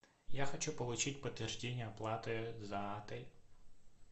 я хочу получить подтверждение оплаты за отель